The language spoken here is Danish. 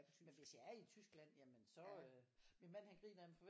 Men hvis jeg er i et tysk land så øh min mand han griner af mig for hver